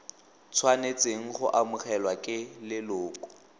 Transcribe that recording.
tshwanetseng go amogelwa ke leloko